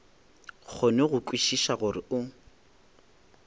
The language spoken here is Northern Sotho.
kgone go kwešiša gore o